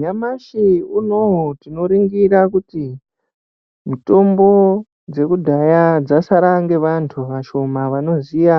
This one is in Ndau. Nyamashi unowu tinoringira kuti mitombo dzekudhaya dzasara ngevantu vashoma vanoziya